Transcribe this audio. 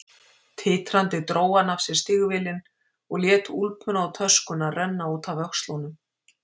Titrandi dró hann af sér stígvélin og lét úlpuna og töskuna renna út af öxlunum.